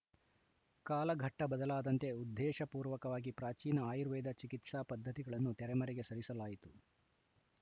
ಕಾಲಘಟ್ಟಬದಲಾದಂತೆ ಉದ್ದೇಶಪೂರ್ವಕವಾಗಿ ಪ್ರಾಚೀನ ಆಯುರ್ವೇದ ಚಿಕಿತ್ಸಾ ಪದ್ಧತಿಗಳನ್ನು ತೆರೆಮರೆಗೆ ಸರಿಸಲಾಯಿತು ಚ್